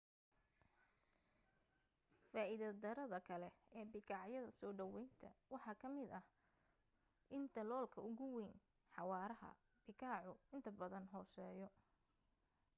faa'iida darrada kale ee bikaacyada soo dhawaynta waxa ka mida in daloolka ugu wayn xawaaraha bikaacu inta badan hooseeyo